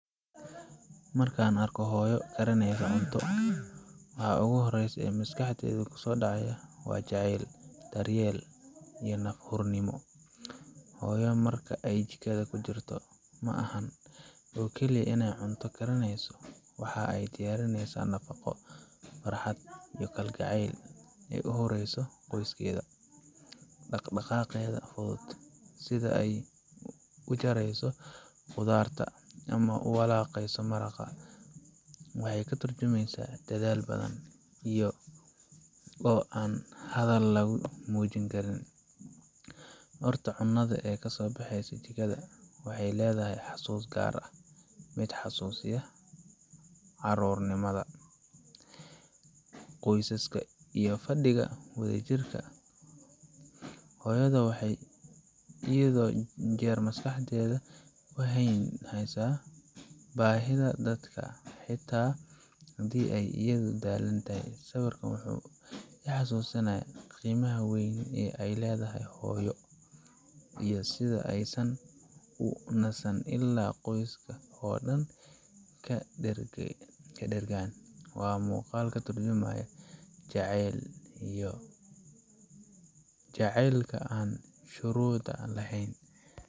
Markan arko hooyo cunta karinesa ,waxa maskax deyda kuso daco waa jacel, daryel iyo naf gurnimo. Hooyo marka ay jikada kujirta maaha cunto kaliya iney karinesa waxey diyarinesa muhubo, kalgacel igu horeysa qoyskeda. Sidha u jareso khudarta waxey katurjumesa dadhal badan. Marka cunada kasobaxesa jikada carur nimada. Qoysaska dhigo soduri jire .Waxey heysa bahida dalka ,sawirkan wuxu ii hasusanya qimaha weyn ee hooyo. Markey jikada kujirto waxan u xise inan kariyo waa qmuqal katurjumayo jacel ,jacelka oo an shurud laheyn.